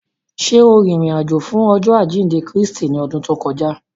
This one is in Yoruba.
Ṣe o rin irin-ajo fun Ọjọ ajinde Kristi ni ọdun to kọja?